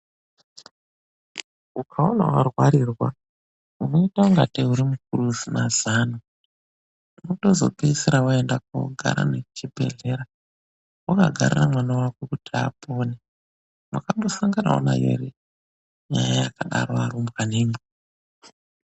UKAONA WARWARIRWA UNOITA UNGATEI SEUSINA ZANO, UNOTOZOPEDZISIRA WAENDA KUNOGARA NEKUCHIBEHLERA, WAKAGARIRA MWANA WAKO KUTI APONE. WAKAMBOSANGANAWO NAYO HERE NYAYA YAKADARO ARUMBWANA IMWI.